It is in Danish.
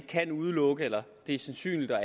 kan ikke udelukke eller det er sandsynligt og